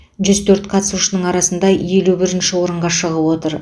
жүз төрт қатысушының арасында елі бірінші орынға шығып отыр